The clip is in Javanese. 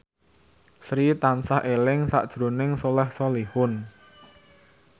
Sri tansah eling sakjroning Soleh Solihun